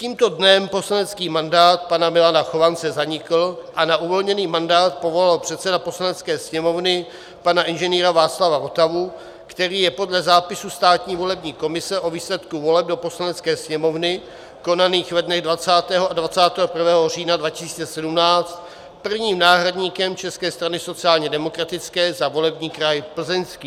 Tímto dnem poslanecký mandát pana Milana Chovance zanikl a na uvolněný mandát povolal předseda Poslanecké sněmovny pana Ing. Václava Votavu, který je podle zápisu Státní volební komise o výsledku voleb do Poslanecké sněmovny konaných ve dnech 20. a 21. října 2017 prvním náhradníkem České strany sociálně demokratické za volební kraj Plzeňský.